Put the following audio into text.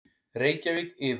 Reykjavík: Iðunn.